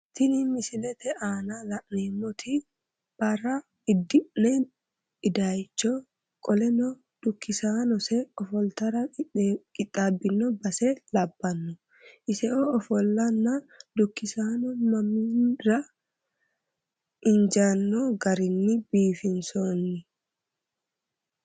Tini misilete aana la'neemmoti bare iddinna idaaycho qoleno dukkisaannonsa ofoltara qixxaabbino base labbanno iseo ofollannonna dukkisanno mannira injaanno garinni biifinsoonni.